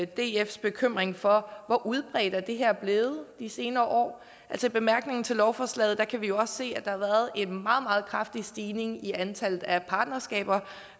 dfs bekymring for hvor udbredt det her er blevet de senere år i bemærkningerne til lovforslaget kan vi jo også se at der har været en meget meget kraftig stigning i antallet af